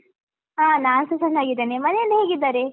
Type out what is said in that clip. ಹಾ ನಾನ್ಸ ಚೆನ್ನಾಗಿದ್ದೇನೆ, ಮನೆಯಲ್ಲಿ ಹೇಗಿದ್ದಾರೆ?